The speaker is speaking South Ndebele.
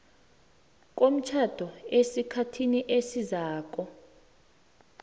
komtjhado esikhathini esiziinyanga